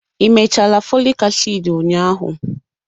ị mechala folic acid ụnyahụ?